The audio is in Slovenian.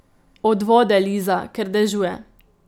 Od vode, Liza, ker dežuje.